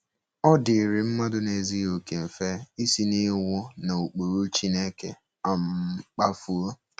Ọ dịịrị mmadụ na - ezughị okè mfe isi n’iwu na ụkpụrụ Chineke um kpafuo.